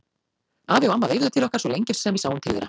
Afi og amma veifuðu til okkar svo lengi sem við sáum til þeirra.